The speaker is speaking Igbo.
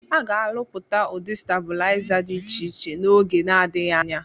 Aga Alụpụta Udị Stabụlịza Dị Ịche Ịche Na - Oge Na Adighi Anya.